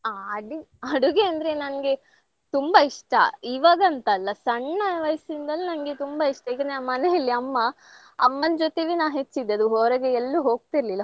ಆ ಅಡಿ~ ಅಡುಗೆ ಅಂದ್ರೆ ನಂಗೆ ತುಂಬಾ ಇಷ್ಟ. ಇವಾಗಂತಲ್ಲ ಸಣ್ಣ ವಯಸ್ಸಿನಿಂದಲು ನಂಗೆ ತುಂಬಾ ಇಷ್ಟ ಈಗ ನಮ್ಮ್ ಮನೆಯಲ್ಲಿ ಅಮ್ಮ ಅಮ್ಮನ್ ಜೊತೆವೇ ನಾ ಹೆಚ್ಚಿದದ್ದು ಹೊರಗೆ ಎಲ್ಲೂ ಹೋಗ್ತಿರ್ಲಿಲ್ಲ.